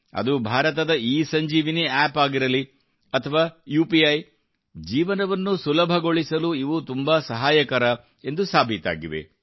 ಅದು ಭಾರತದ ಇಸಂಜೀವಿನಿ ಆ್ಯಪ್ ಆಗಿರಲಿ ಅಥವಾ ಯುಪಿಇ ಜೀವನವನ್ನು ಸುಲಭಗೊಳಿಸಲು ಇವು ತುಂಬಾ ಸಹಾಯಕರ ಎಂದು ಸಾಬೀತಾಗಿವೆ